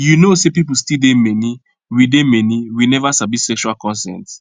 you know say people still dey many we dey many we never sabi sexual consent